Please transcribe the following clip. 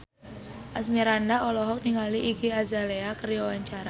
Asmirandah olohok ningali Iggy Azalea keur diwawancara